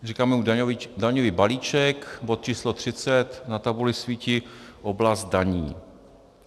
Říkáme mu daňový balíček, bod číslo 30, na tabuli svítí oblast daní.